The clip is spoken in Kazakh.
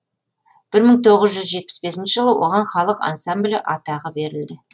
бір мың тоғыз жүз жетпіс бесінші жылы оған халық ансамблі атағы берілді